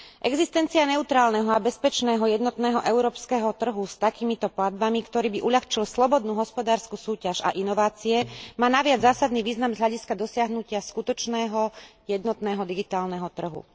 Existencia neutrálneho a bezpečného jednotného európskeho trhu s takýmito platbami, ktorý by uľahčil slobodnú hospodársku súťaž a inovácie, má naviac zásadný význam z hľadiska dosiahnutia skutočného jednotného digitálneho trhu.